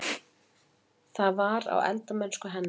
Það var: á eldamennsku hennar.